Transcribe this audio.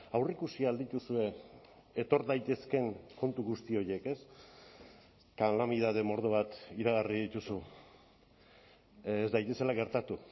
aurreikusi al dituzue etor daitezkeen kontu guzti horiek ez kalamidade mordo bat iragarri dituzu ez daitezela gertatu